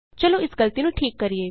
ਚਲੋ ਇਸ ਗਲਤੀ ਨੂੰ ਠੀਕ ਕਰੀਏ